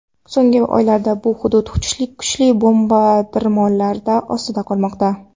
So‘nggi oylarda bu hudud kuchli bombardimonlar ostida qolmoqda.